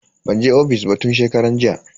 Ban je ofis ba tun shekaran jiya.